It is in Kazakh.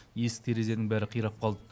есік терезенің бәрі қирап қалды